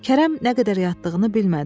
Kərəm nə qədər yatdığını bilmədi.